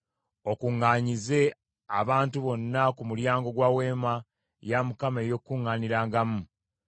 okuŋŋaanyize abantu bonna ku mulyango gwa Weema ey’Okukuŋŋaanirangamu.”